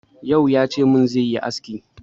Yau ya ce min zai yi aski.